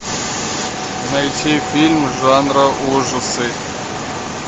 найти фильм жанра ужасы